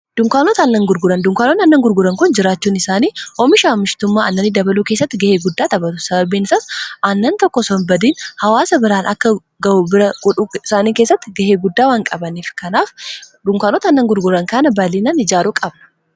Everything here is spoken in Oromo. Dunkaanootn aannan gurguran kun jiraachuun isaanii oomisha amishtummaa annanni dabaluu keessatti ga'ee guddaa xaphatu sabarbiin saas annan tokko sonbadiin hawaasa biraan akka ga'uu bira gudhuu isaanii keessatti gahee guddaa waanqabaniif kanaf dunkaanota annan gurguran kana baallinaan ijaaruu qabna.